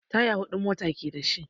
Taya huɗu mota ke da shi.